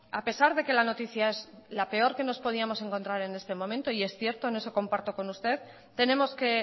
a pesar de que la noticia es la peor que nos podíamos encontrar en este momento y es cierto en eso comparto con usted tenemos que